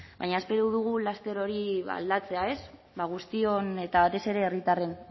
baina espero dugu laster hori aldatzea ez ba guztion eta batez ere herritarren